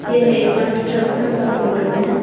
यह एक कंस्ट्रक्शन का फोटो है।